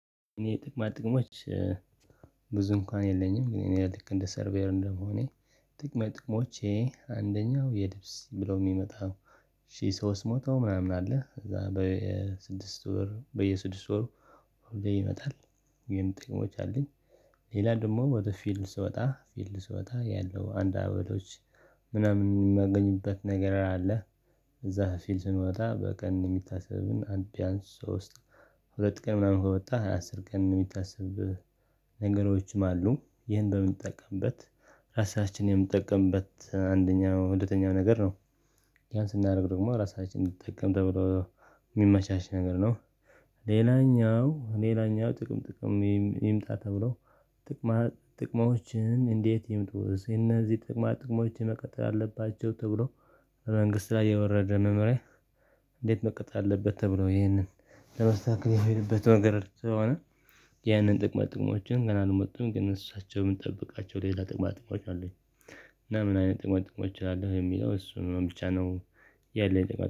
እኔ ጥቅማ ጥቅሞች ብዙ እንኳን የለኝም። ግን እኔ ልክ እንደ ሰርቬር እንደመሆኔ የጥቅማ ጥቅሞቼ አንደኛው የድብስ ብለው የሚመጣው ሺህ ሶስት መው ምናምን አለ። እዛ በየስድስት ወር በየስድስት ወር ሆልዴ ይመጣ። ግን ጥቅሞች አለኝ። ሌላ ደግሞ ወደ ፊልድ ስወጣ ፊልድ ስወጣ ያለው አንድ አበሎች ምናምን የማገኝበት ነገር አለ። እዛ ፊልድ ስንወጣ በቀን የሚታሰብን አድን ቢያንስ ሶስት ሁለት ቀን ምናምን ከወጣህ አስር ቀን የሚታሰብ ነገሮችም አሉ። ይሄን በምንጠቀምበት ራሳችንን የምንጠቀምበት አንደኛው ሁለተኛው ነገር ነው ያን ስናደርግ ደግሞ ራሳችንን እንድትጠቀም ተብሎ የሚመቻች ነገር ነ። ሌላኛው ሌላኛው ጥቅም ጥቅም ይምጣ ተብሎ ጥቅማ ጥቅማዎችን እንዴት ይምጡስ እነዚህ ጥቅማ ጥቅሞችን መቀጠል አለባቸው ተብሎ መንግስት ላይ የወረደ መምህራን እንዴት መቅጥ አለበት ተብሎ ይህንን ለመስተካከል ያሄድበት መንገድ ስለሆነ ያንን ጥቅማ ጥቅሞችን ገና አልመጡም። ግን እሳቸው የምንጠብቃቸው ሌላ ጥቅማ ጥቅሞች አሉ። እና ምን አይነት ጥቅማ ጥቅሞች እላለሁ። የሚለው እሱ ነው ብቻ ነው የለም